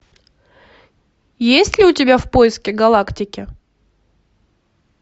есть ли у тебя в поисках галактики